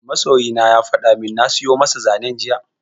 Masoyina ya fada min na siyo masa zanen jiya